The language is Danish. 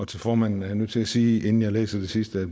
til formanden er jeg nødt til at sige inden jeg læser det sidste